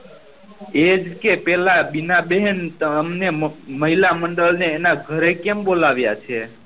એજ કેહ પેલા બીના બેહેન તમને મહિલા મંડલ ને એના ઘરે કેમ બોલાવ્યા છે